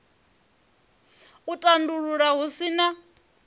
u tandulula hu si na